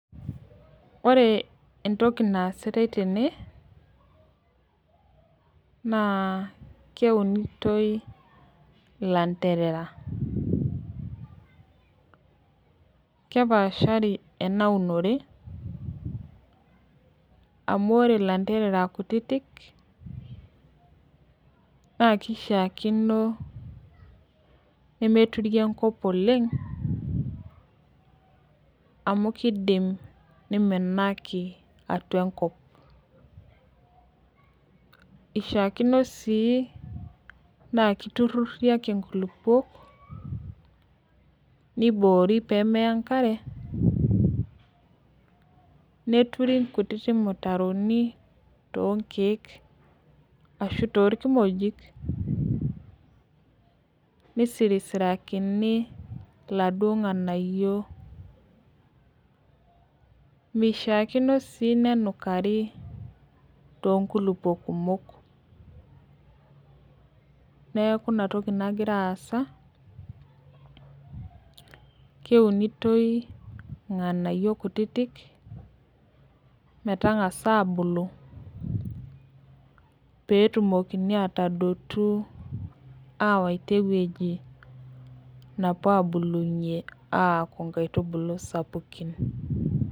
Ore entoki naasitai tene, naa keunitoi ilanterera. Kepaashari enaunore, amu ore lanterera kutitik, na kishaakino nemeturi enkop oleng, amu kidim niminaki atua enkop. Ishaakino si na kiturrurri ake inkulukuok, niboori pemeya enkare, neturi nkutiti mutaroni tonkeek ashu torkimojik, nisirisirakini laduo ng'anayio. Mishaakino si nenukari tonkulukuok kumok. Neeku inatoki nagira aasa, keunitoi irng'anayio kutitik, metang'asa abulu, petumokini atadotu awaita ewueji napuo abulunye metaa inkaitubulu sapukin.